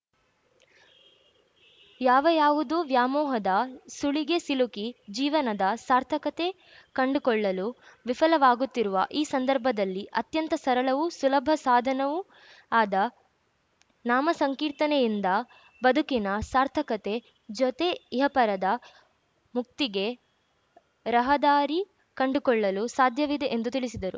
ಯಾವ ಯಾವುದೋ ವ್ಯಾಮೋಹದ ಸುಳಿಗೆ ಸಿಲುಕಿ ಜೀವನದ ಸಾರ್ಥಕತೆ ಕಂಡುಕೊಳ್ಳಲು ವಿಫಲವಾಗುತ್ತಿರುವ ಈ ಸಂದರ್ಭದಲ್ಲಿ ಅತ್ಯಂತ ಸರಳವೂ ಸುಲಭ ಸಾಧನವೂ ಆದ ನಾಮಸಂಕೀರ್ತನೆಯಿಂದ ಬದುಕಿನ ಸಾರ್ಥಕತೆ ಜೊತೆ ಇಹಪರದ ಮುಕ್ತಿಗೆ ರಹದಾರಿ ಕಂಡುಕೊಳ್ಳಲು ಸಾಧ್ಯವಿದೆ ಎಂದು ತಿಳಿಸಿದರು